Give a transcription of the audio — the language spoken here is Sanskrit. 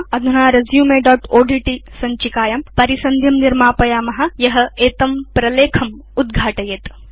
अधुना resumeओड्ट् सञ्चिकायां परिसन्धिं निर्मापयाम यत् एतं प्रलेखम् उद्घाटयेत्